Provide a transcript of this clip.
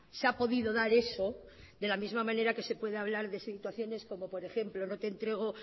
se ha podido dar eso de la misma manera que se puede hablar de situaciones como por ejemplo